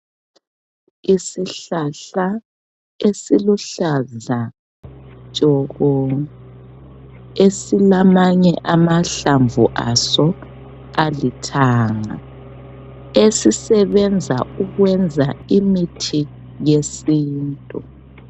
Isihlahla esiluhlaza tshoko esilamanye amahlamvu aso alithanga esisebenza ukwenza imithi yesintu .